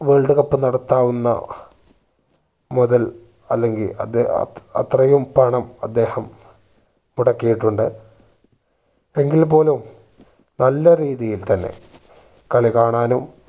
world cup നടത്താവുന്ന മുതൽ അല്ലെങ്കി അത് അത്രയും പണം അദ്ദേഹം മുടക്കിയിട്ടുണ്ട് എങ്കിൽ പോലും നല്ല രീതിയിൽ തന്നെ കളി കാണാനും